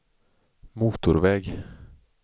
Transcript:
motorväg